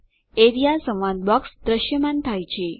A R E A સંવાદ box દ્રશ્યમાન થાય છે